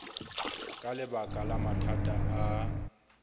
ka lebaka la mathata a